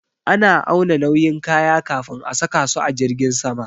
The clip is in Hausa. Ana auna nauyin kaya kafin a saka su a jirgin sama